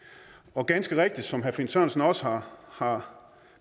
og ganske rigtigt som herre finn sørensen også har har